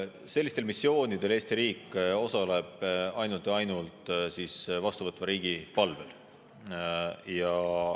Sellistel missioonidel Eesti riik osaleb ainult ja ainult vastuvõtva riigi palvel.